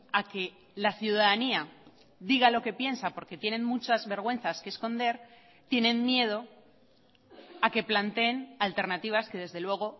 a que la ciudadanía diga lo que piensa porque tienen muchas vergüenzas que esconder tienen miedo a que planteen alternativas que desde luego